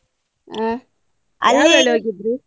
ಹಾ. ಹೋಗಿದ್ರೀ?